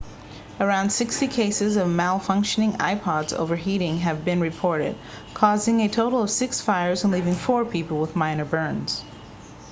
around 60 cases of malfunctioning ipods overheating have been reported causing a total of six fires and leaving four people with minor burns